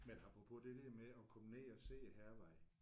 Men apropos det der med at komme ned at se Hærvejen